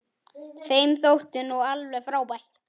Þeim þótti þú alveg frábær.